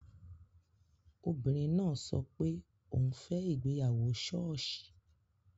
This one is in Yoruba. Obìnrin náà sọ pé òun fẹ́ ìgbéyàwó ṣọ́ọ̀ṣì